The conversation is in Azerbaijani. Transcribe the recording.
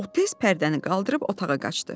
O tez pərdəni qaldırıb otağa qaçdı.